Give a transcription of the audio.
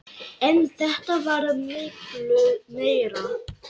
En þetta varð miklu meira.